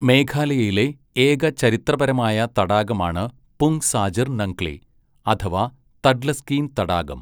മേഘാലയയിലെ ഏക ചരിത്രപരമായ തടാകമാണ് പുങ് സാജർ നംഗ്ലി അഥവാ തഡ്ലസ്കീൻ തടാകം.